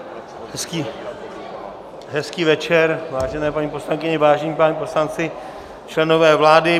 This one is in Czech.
Hezký večer, vážené paní poslankyně, vážení páni poslanci, členové vlády.